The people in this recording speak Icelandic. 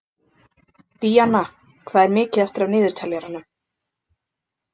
Díanna, hvað er mikið eftir af niðurteljaranum?